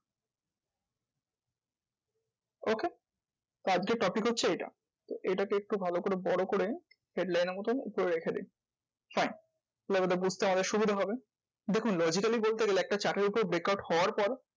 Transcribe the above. Okay তো আজকের topic হচ্ছে এটা। তো এটাকে একটু ভালো করে বড় করে headline এর মতোন উপরে রেখে দি। fine label টা বুঝতে আরও সুবিধা হবে। দেখুন logically বলতে গেলে একটা chart এর উপর breakout হওয়ার পর,